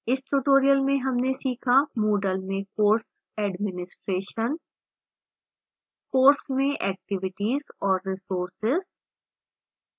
इस tutorial में हमने सीखा moodle में course administration